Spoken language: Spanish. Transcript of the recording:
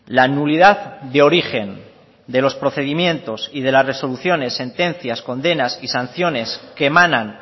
la nulidad de origen de los procedimientos y de las resoluciones sentencias condenas y sanciones que emanan